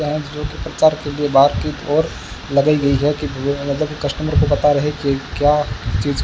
Lions bro के प्रचार के लिए बातचीत और लगाई गई हैं कि ये मतलब कस्टमर को पता रहे कि क्या चीज --